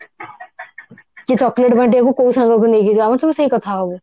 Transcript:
କି chocolate ବାଣ୍ଟିବାକୁ କଉ ସାଙ୍ଗକୁ ନେଇକି ଯିବୁ ଆମେ ସବୁ ସେଇ କଥା ହବୁ